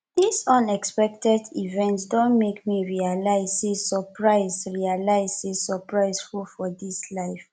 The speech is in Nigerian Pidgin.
dis unexpected event don make me realize sey surprise realize sey surprise full for dis life